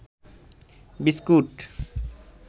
biscuit